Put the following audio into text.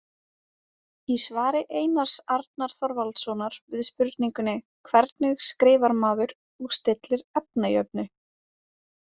Í svari Einars Arnar Þorvaldssonar við spurningunni Hvernig skrifar maður og stillir efnajöfnu?